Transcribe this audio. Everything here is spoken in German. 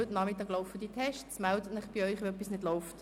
Melden Sie sich also, wenn etwas mit dem WLAN nicht läuft.